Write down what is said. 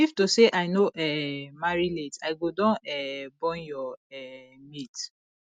if to say i no um marry late i go don um born your um mate